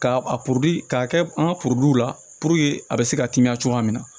K'a a k'a kɛ an ka la a bɛ se ka temiya cogoya min na